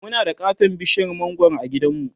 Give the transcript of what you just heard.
Muna da katon bishiyar mangwaro a gidanmu